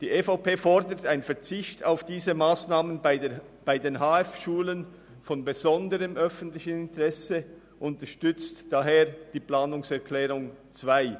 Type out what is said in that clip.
Die EVP fordert einen Verzicht auf diese Massnahmen bei den HF von besonderem öffentlichem Interesse und unterstützt deshalb die Planungserklärung 2.